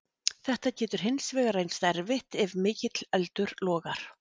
Þetta getur hins vegar reynst erfitt ef mikill eldur logar.